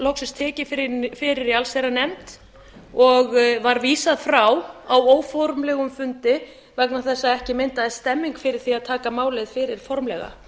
loksins tekið fyrir í allsherjarnefnd og var vísað frá á óformlegum fundi vegna þess að ekki myndaðist stemning fyrir því að taka málið fyrir formlega